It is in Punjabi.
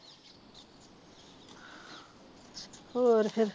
ਹੋਰ ਫ਼ੇਰ